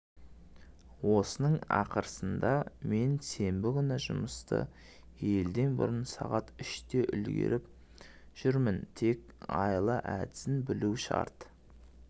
осының арқасында мен сенбі күні жұмысты елден бұрын сағат үште үлгіріп жүрмін тек айла-әдісін білу шарт